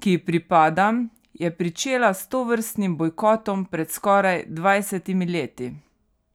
ki ji pripadam, je pričela s tovrstnim bojkotom pred skoraj dvajsetimi leti.